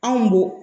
Anw bo